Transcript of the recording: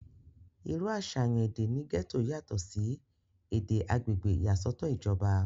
irú àsàyàn èdè ní gẹ́tò yàtọ̀ sí èdè agbègbè ìyàsọ́tọ̀ ìjọba